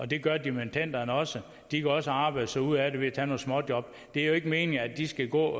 det gør dimittenderne også de kan også arbejde sig ud af det ved at tage nogle småjob det er jo ikke meningen at de skal gå